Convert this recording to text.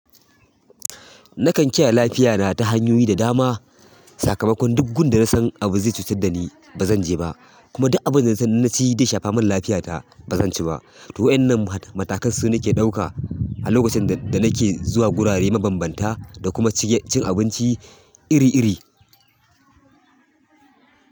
Nakan kiyaye lafiyana ta hanyoyi da dama. Sakamakon duk gun da nasan abu zai cutar da ni ba zanje ba kuma duk abin da nasan inna ci zai shafa min lafiyata bazanci ba. To waʼyannan matakan su nake ɗauka a lokacin da nake zuwa gurare mabanbanta da kuma cin abinci iri iri.